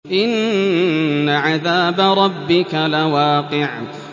إِنَّ عَذَابَ رَبِّكَ لَوَاقِعٌ